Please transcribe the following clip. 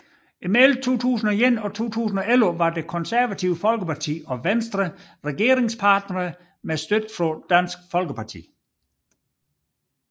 Mellem 2001 og 2011 var Det Konservative Folkeparti og Venstre regeringspartnere med støtte fra Dansk Folkeparti